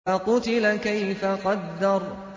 فَقُتِلَ كَيْفَ قَدَّرَ